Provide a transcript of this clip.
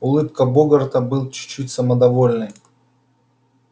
улыбка богарта была чуть-чуть самодовольной